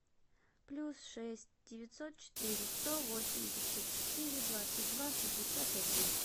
плюс шесть девятьсот четыре сто восемьдесят четыре двадцать два шестьдесят один